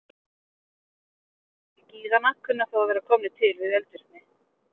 Einhverjir gíganna kunna þó að vera komnir til við eldvirkni.